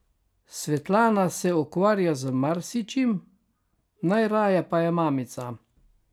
Svetlana se ukvarja z marsičim, najraje pa je mamica.